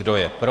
Kdo je pro?